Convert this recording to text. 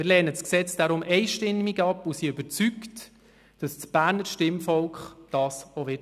Wir lehnen das Gesetz deshalb einstimmig ab und sind überzeugt, dass das Berner Stimmvolk dies auch tun wird.